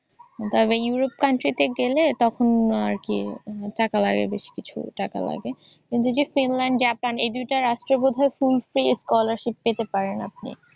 তবে Europe country তে গেলে তখন আর কি টাকা লাগে বেশ কিছু টাকা লাগে। কিন্তু যদি ফিনল্যান্ড জাপান এই দুইটা রাষ্ট্র বোধয় full paid scholarship পেতে পারেন আপনি।